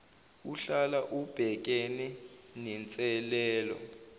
uhlala ubhekene nenselelo